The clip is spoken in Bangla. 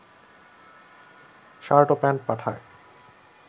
শার্ট ও প্যান্ট পাঠায়